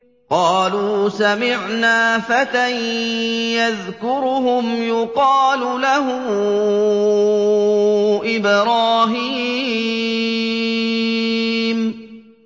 قَالُوا سَمِعْنَا فَتًى يَذْكُرُهُمْ يُقَالُ لَهُ إِبْرَاهِيمُ